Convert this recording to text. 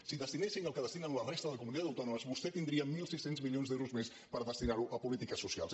si destinéssim el que destinen la resta de comunitats autònomes vostè tindria mil sis cents milions d’euros més per destinar ho a polítiques socials